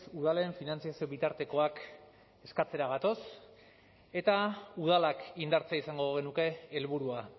udalen finantzazio bitartekoak eskatzera gatoz eta udalak indartzea izango genuke helburua